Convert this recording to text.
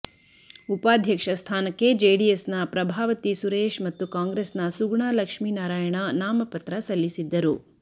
ಉಪಾಧ್ಯಕ್ಷ ಸ್ಥಾನಕ್ಕೆ ಜೆಡಿಎಸ್ನ ಪ್ರಭಾವತಿ ಸುರೇಶ್ ಮತ್ತು ಕಾಂಗ್ರೆಸ್ನ ಸುಗುಣ ಲಕ್ಷ್ಮಿನಾರಾಯಣ ನಾಮಪತ್ರ ಸಲ್ಲಿಸಿದ್ದರು